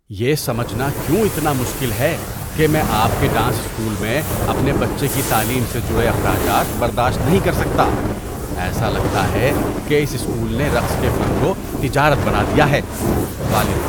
یہ سمجھنا کیوں اتنا مشکل ہے کہ میں آپ کے ڈانس اسکول میں اپنے بچے کی تعلیم سے جڑے اخراجات برداشت نہیں کر سکتا؟ ایسا لگتا ہے کہ اس اسکول نے رقص کے فن کو تجارت بنا دیا ہے۔ (والد)